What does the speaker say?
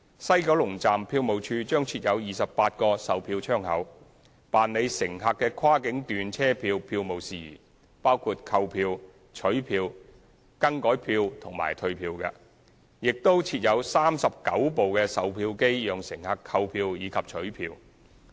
西九龍站票務處將設有28個售票窗口，辦理乘客的跨境段車票票務事宜，包括購票、取票、改票及退票，亦會設有39部售票機讓乘客購票及取票。